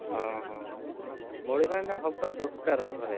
ହଁ ହଁ, ଭାଇ, ବଢି ପାଣିଟା ହବା ଦକାର ଥରେ,